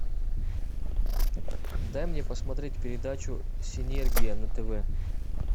дай мне посмотреть передачу синергия на тв